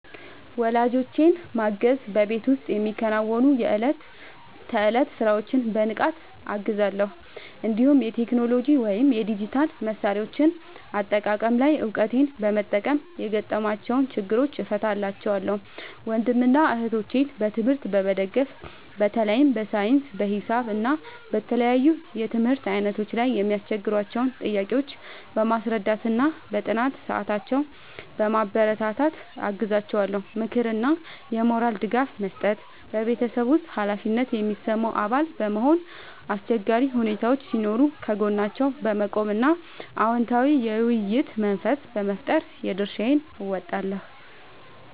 ወላጆቼን ማገዝ በቤት ውስጥ የሚከናወኑ የዕለት ተዕለት ሥራዎችን በንቃት እገዛለሁ፤ እንዲሁም የቴክኖሎጂ ወይም የዲጂታል መሣሪያዎች አጠቃቀም ላይ እውቀቴን በመጠቀም የገጠሟቸውን ችግሮች እፈታላቸዋለሁ። ወንድምና እህቶቼን በትምህርት መደገፍ በተለይ በሳይንስ፣ በሂሳብ እና በተለያዩ የትምህርት ዓይነቶች ላይ የሚያስቸግሯቸውን ጥያቄዎች በማስረዳትና በጥናት ሰዓታቸው በማበረታታት አግዛቸዋለሁ። ምክርና የሞራል ድጋፍ መስጠት በቤተሰብ ውስጥ ኃላፊነት የሚሰማው አባል በመሆን፣ አስቸጋሪ ሁኔታዎች ሲኖሩ ከጎናቸው በመቆም እና አዎንታዊ የውይይት መንፈስ በመፍጠር የድርሻዬን እወጣለሁ።